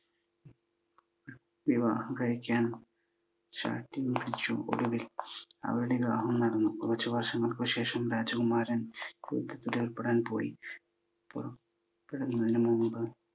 വിവാഹം കഴിക്കാൻ ശാഠ്യം പിടിച്ചു. ഒടുവിൽ അവരുടെ വിവാഹം നടന്നു. കുറച്ചു വർഷങ്ങൾക്കു ശേഷം രാജകുമാരൻ യുദ്ധത്തിലേർപ്പെടാൻ പോയി. പോകുന്നതിനു മുൻപ്